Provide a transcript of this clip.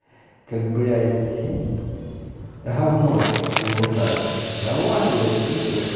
как блять гавно в унитазе давай блять скидывай